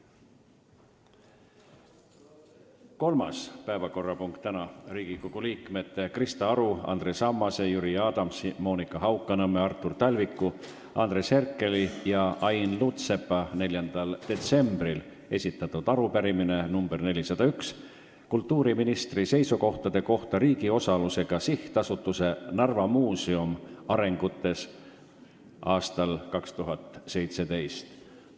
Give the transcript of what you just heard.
Kolmas päevakorrapunkt on Riigikogu liikmete Krista Aru, Andres Ammase, Jüri Adamsi, Monika Haukanõmme, Artur Talviku, Andres Herkeli ja Ain Lutsepa 4. detsembril esitatud arupärimine nr 401 kultuuriministri seisukohtade kohta riigi osalusega sihtasutuse Narva Muuseum arengutes aastal 2017.